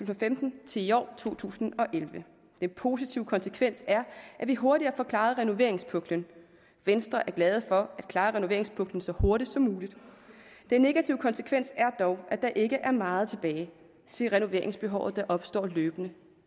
til femten til i år to tusind og elleve den positive konsekvens er at vi hurtigere får klaret renoveringspuklen venstre er glad for at klare renoveringspuklen så hurtigt som muligt den negative konsekvens er dog at der ikke er meget tilbage til renoveringsbehov der opstår løbende